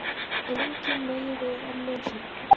En enginn megi við örlögum sínum.